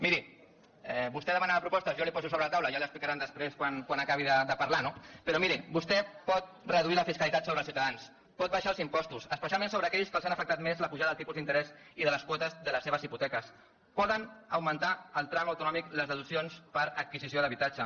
miri vostè demanava propostes jo les hi poso sobre la taula ja li ho explicaran després quan acabi de parlar no però miri vostè pot reduir la fiscalitat sobre els ciutadans pot baixar els impostos especialment sobre aquells que els han afectat més la pujada del tipus d’interès i de les quotes de les seves hipoteques poden augmentar el tram autonòmic les deduccions per adquisició d’habitatge